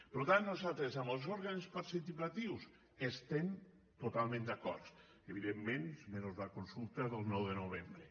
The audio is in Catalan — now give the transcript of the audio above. per tant nosaltres amb els òrgans participatius hi estem totalment d’acord evidentment menys la consulta del nou de novembre